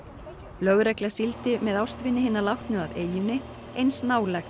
lögregla sigldi með ástvini hinna látnu að eyjunni eins nálægt